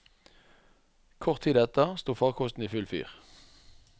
Kort tid etter sto farkosten i full fyr.